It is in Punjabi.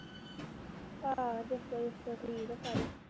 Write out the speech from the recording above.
ਹਾਂ ਜੱਸ ਜੁਸੋ ਠੀਕ ਆ ਸਾਰੇ